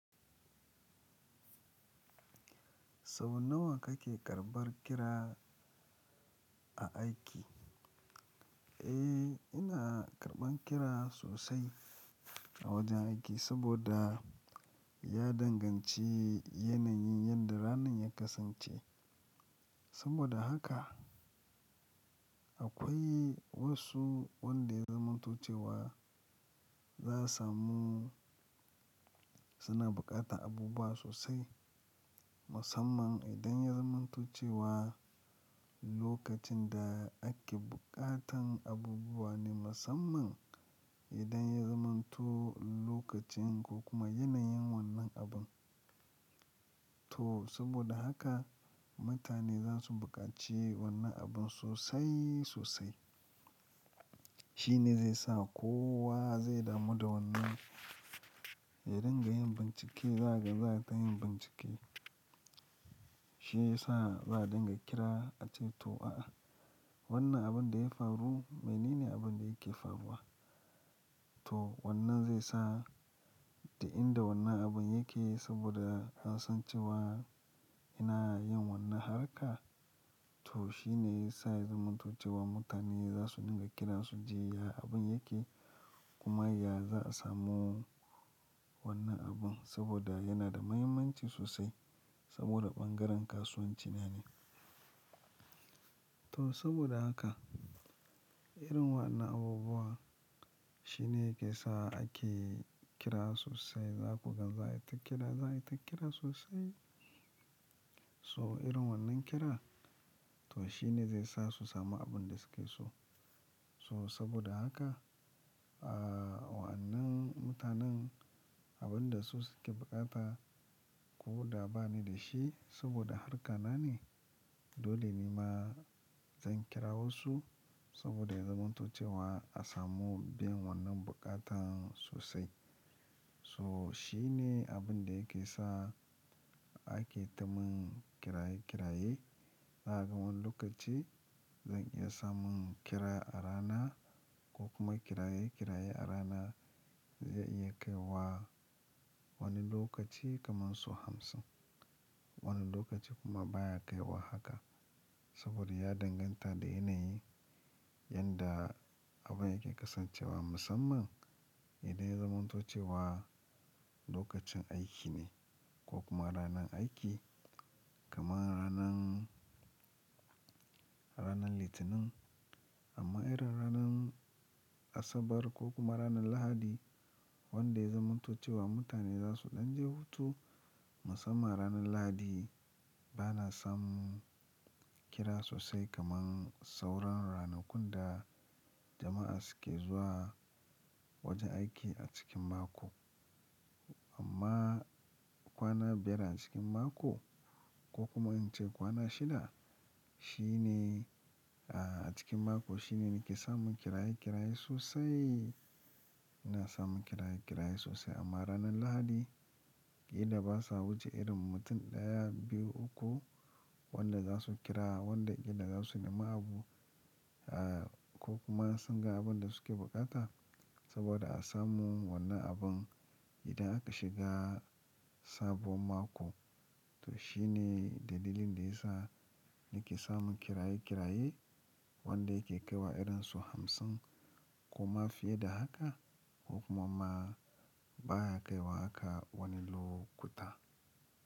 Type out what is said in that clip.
Kaman nawa kake karɓar kira a aiki? Eh, ina karɓan kira sosai a wajen aiki saboda ya danganci yanayin yadda ranan ya kasance. Saboda haka akwai wasu wanda ya zamantace wa za su samu suna buƙatan abubuwa sosai, musamman idan ya zamanto cewa lokacin da ake buƙatan abubuwa ne musamman idan ya zamanto lokacin ko kuma yanayin wannan abun. To saboda haka mutane za su buƙaci wannan abun sosai sosai. Shi ne zai sa kowa zai damu da wannan. I dinga yin bincike, za ka gan za ka yi bincike. Shi ya sa za a dinga kira ace to a'a wannan abun da ya faru, me ne ne abun da yake faruwa? To wannan zai sa da inda wannan abun yake saboda hasancewa ina yin wannan harka. To shi ne ya sa ya zamanto cewa mutane za su dinga kira su ji ya abun yake kuma ya za a samu wannan abun saboda yana da muhimmanci sosai saboda ɓangaren kasuwanci na ne. To saboda haka irin wannan abubuwa shi ne yake sa ake kira sosai. Za ku gan za a yi ta kira, za a yi ta kira sosai. So irin wannan kira to shi ne zai sa su samu abin da suke so. So saboda haka, ah wannan mutanen abin da su suke buƙata ko da ba ni da shi saboda harka na ne, dole ni ma zan kira wasu saboda ya zamantace wa a samu bin wannan buƙatan sosai. So shine abin da yake sa ake ta mun kira-kira yi. A wani lokaci zan iya samun kira a rana ko kuma kira-kira yi a rana zai iya kai wa wani lokaci kamar su hamsin. Wani lokaci kuma baya kai wa haka saboda ya danganta da yanayi yadda abun yake kasancewa musamman idan ya zamanto cewa lokacin aiki ne ko kuma ranan aiki kamar ranan, ranan Litinin. Amma irin ranan Asabar ko kuma ranan Lahadi wanda ya zamantace wa mutane za su ɗan je hutu musamman ranan Lahadi bana samun kira sosai kamar sauran ranakun da jama'a suke zuwa wajen aiki a cikin mako. Amma kwana biyar a cikin mako ko kuma in ce kwana shida, shi ne a cikin mako shi ne nake samun kira-kira yi sosai. Ina samun kira-kira yi sosai amma ranan Lahadi idan ba sa wuce irin mutum ɗaya, biyu, uku wanda za su kira, wanda idan za su nema abu ah ko kuma sun ga abin da suke buƙata saboda a samu wannan abun idan aka shiga sabuwar mako. To shi ne dalilin da ya sa nake samun kira-kira yi wanda yake kai wa irin su hamsin kuma fiye da haka ko kuma baya kai wa haka wani lokuta.